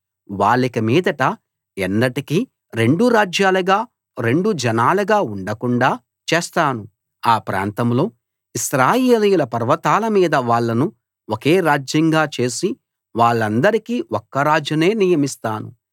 వాళ్ళిక మీదట ఎన్నటికీ రెండు రాజ్యాలుగా రెండు జనాలుగా ఉండకుండాా చేస్తాను ఆ ప్రాంతంలో ఇశ్రాయేలీయుల పర్వతాల మీద వాళ్ళను ఒకే రాజ్యంగా చేసి వాళ్ళందరికీ ఒక్క రాజునే నియమిస్తాను